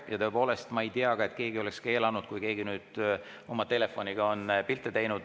Ja tõepoolest ma ei tea, et keegi oleks keelanud, kui keegi on oma telefoniga pilte teinud.